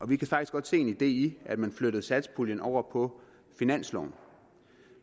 vi kan faktisk godt se en idé at man flyttede satspuljen over på finansloven